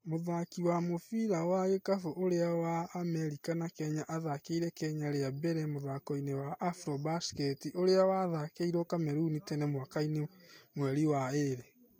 Mũthaki wa mũbira wa gikabũ ũria wi wa Amerika na Kenya athakiire Kenya ria mbere mũthakoini wa Afrobasket ũria wathakiirwo Kamerun tene mwakainĩ mweri wa ĩrĩ.